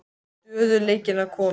Stöðugleikinn að koma?